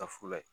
Ka fula ye